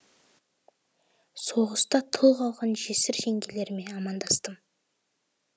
соғыста тұл қалған жесір жеңгелеріме амандастым